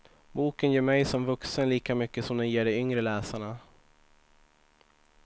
Boken ger mig som vuxen lika mycket som den ger de yngre läsarna.